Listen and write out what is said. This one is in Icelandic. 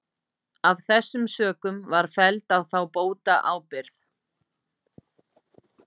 Af þessum sökum var felld á þá bótaábyrgð.